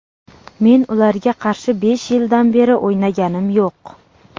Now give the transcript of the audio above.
Men ularga qarshi besh yildan beri o‘ynaganim yo‘q.